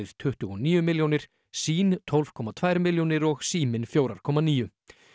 tuttugu og níu milljónir sýn tólf komma tvær milljónir og Síminn fjögurra komma níu